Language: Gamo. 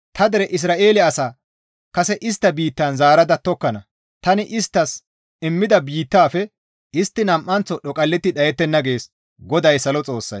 Ta dere Isra7eele asaa tani kase istta biittan zaarada tokkana; tani isttas immida biittafe istti nam7anththo dhoqalletti dhayettenna» gees GODAY salo Xoossay.